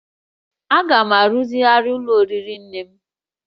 A ga-arụzigharị ụlọ oriri nne m